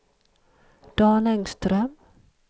Dan Engström